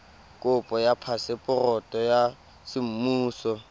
kopo ya phaseporoto ya semmuso